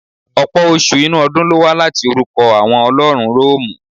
Ọ̀pọ̀ oṣù inú ọdún lówá láti orukọ àwọn ọlọ́run Rọ́ọ̀mù.